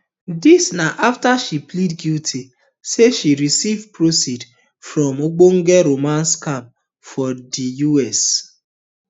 dis um na afta she plead guilty say she receive proceeds from ogbonge romance scams for di us